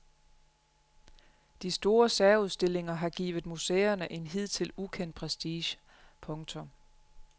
De store særudstillinger har givet museerne en hidtil ukendt prestige. punktum